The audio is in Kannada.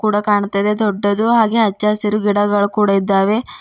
ಆ ಕಾಣ್ತಾಇದೆ ದೊಡ್ಡದು ಹಾಗೆ ಅಚ್ಚ ಹಸಿರ ಗಿಡಗಳು ಕೂಡ ಇದ್ದಾವೆ.